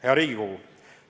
Hea Riigikogu!